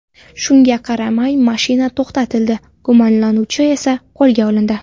Shunga qaramay, mashina to‘xtatildi, gumonlanuvchi esa qo‘lga olindi.